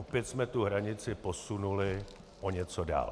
Opět jsme tu hranici posunuli o něco dál.